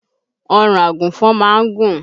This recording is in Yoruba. Ọrùn àgùnfọn má ń gùn